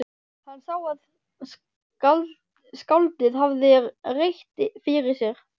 Hann sá að skáldið hafði rétt fyrir sér.